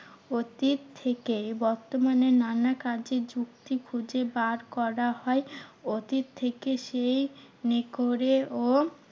অতীত থেকে বর্তমানে নানা কাজে যুক্তি খুঁজে বার করা হয়। অতীত থেকে সেমনি করে ও